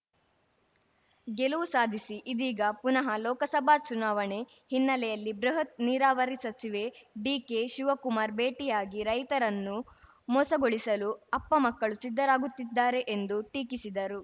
ಗೆಲವು ಸಾಧಿಸಿ ಇದೀಗ ಪುನಃ ಲೋಕಸಭಾ ಚುನಾವಣೆ ಹಿನ್ನೆಲೆಯಲ್ಲಿ ಬೃಹತ್‌ ನೀರಾವರಿ ಸಚಿವೆ ಡಿಕೆ ಶಿವಕುಮಾರ್‌ ಭೇಟಿಯಾಗಿ ರೈತರನ್ನು ಮೋಸಗೊಳಿಸಲು ಅಪ್ಪಮಕ್ಕಳು ಸಿದ್ಧರಾಗುತ್ತಿದ್ದಾರೆ ಎಂದು ಟೀಕಿಸಿದರು